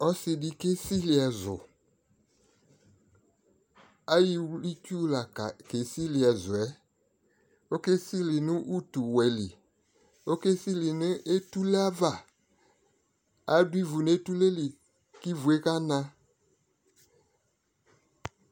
Ɔsɩdɩ ayɔ iwlitsu ke sɩlɩ ɛzʊ ɔkesɩlɩ nʊ utuwɛlɩ ɔkesɩlɩ nʊ etuleava adʊ ivu nʊ etuleli kʊ ivue kana